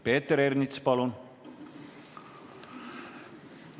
Peeter Ernits, palun!